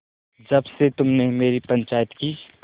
जब से तुमने मेरी पंचायत की